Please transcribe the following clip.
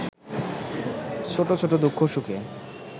ছোটছোট দুঃখ সুখে